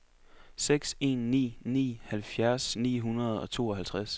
seks en ni ni halvfjerds ni hundrede og tooghalvtreds